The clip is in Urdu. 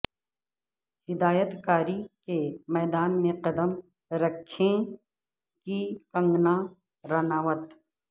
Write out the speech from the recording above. ہدایت کاری کے میدان میں قد م رکھیں کی کنگنا رناوت